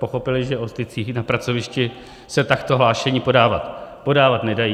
Pochopili, že o stycích na pracovišti se takto hlášení podávat nedají.